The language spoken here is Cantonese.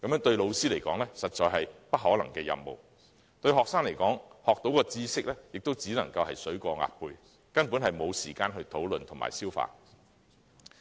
對老師來說，這實在是不可能的任務；對學生來說，學到的知識亦只是"水過鴨背"，根本沒有時間討論和消化。